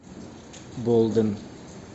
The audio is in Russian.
болден